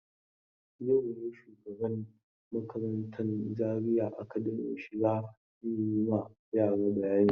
Yau ne shugaban makarantan Zaria Academy Shika zai yi ma yara bayani.